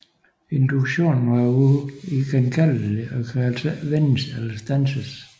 Induktionen er uigenkaldelig og kan altså ikke vendes eller standses